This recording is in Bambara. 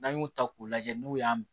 N'an y'u ta k'u lajɛ n'u y'a